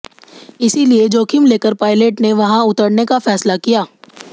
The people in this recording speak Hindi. इसलिए जोखिम लेकर पायलट ने वहां उतरने का फैसला किया